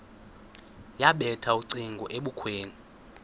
yabethela ucingo ebukhweni